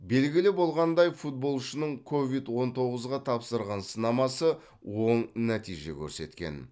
белгілі болғандай футболшының ковид он тоғызға тапсырған сынамасы оң нәтиже көрсеткен